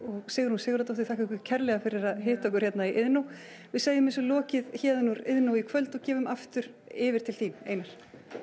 Sigrún Sigurðardóttir þakka ykkur kærlega fyrir að hitta okkur hérna í Iðnó við segjum þessu lokið héðan úr Iðnó í kvöld og gefum aftur yfir til þín Einar